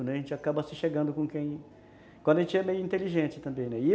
A gente acaba se chegando com quem... Quando a gente é meio inteligente também, né? E eu